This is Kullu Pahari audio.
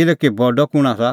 किल्हैकि बडअ कुंण आसा